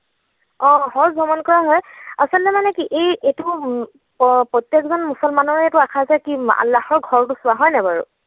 অ হয় ভ্ৰমণ কৰাই হয়। আচলতে মানে কি এই এইটো প্ৰত্যেকজন মুছলমানৰে এইটো আশা যে কি আল্লাহৰ ঘৰটো চোৱা হয় নাই বাৰু?